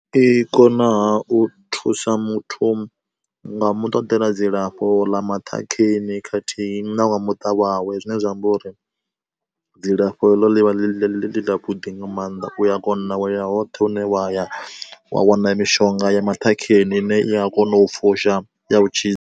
I konaha u thusa muthu nga mu ṱoḓela dzilafho ḽa maṱhakheni khathihi na wa muṱa wawe zwine zwa amba uri, dzilafho lo ḽivha ḽi ḽi ḽi ḽa vhuḓi nga maanḓa, u ya kona waya hoṱhe hune wa ya wa wana mishonga ya maṱhakheni ine i a kona u fusha ya u tshi.